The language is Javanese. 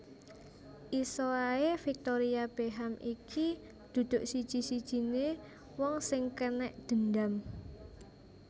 Iso ae Victoria Beckham iki duduk siji sijine wong sing kenek gendam